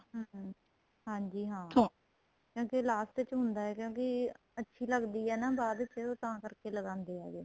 ਹਮ ਹਾਂਜੀ ਹਾਂ ਕਿਉਂਕਿ last ਚ ਹੁੰਦਾ ਏ ਕਿਉਂਕਿ ਅੱਛੀ ਲੱਗਦੀ ਏ ਹੈਨਾ ਬਾਅਦ ਚ ਤਾਂ ਕਰਕੇ ਲਗਾਂਦੇ ਹੈਗੇ